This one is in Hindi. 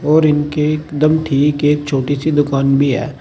और ईनके एकदम ठीक एक छोटी सी दुकान भी है।